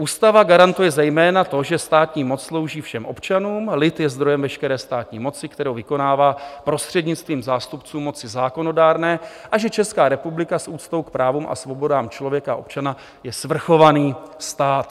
Ústava garantuje zejména to, že státní moc slouží všem občanům, lid je zdrojem veškeré státní moci, kterou vykonává prostřednictvím zástupců moci zákonodárné, a že Česká republika s úctou k právům a svobodám člověka a občana je svrchovaný stát".